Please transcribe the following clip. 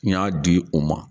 N y'a di o ma